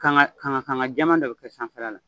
Kanga kanga kanga jɛma dɔ bɛ kɛ sanfɛla la.